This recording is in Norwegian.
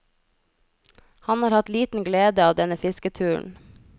Han har hatt liten glede av denne fisketuren.